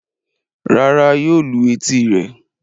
Rárá yóò lu etí rẹ̀.